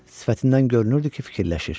Sifətindən görünürdü ki, fikirləşir.